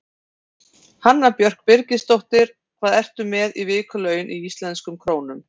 Hanna Björg Birgisdóttir Hvað ertu með í vikulaun í íslenskum krónum?